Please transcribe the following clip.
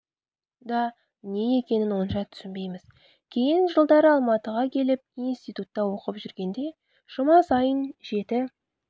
да не екенін онша түсінбейміз кейін жылдары алматыға келіп институтта оқып жүргенде жұма сайын жеті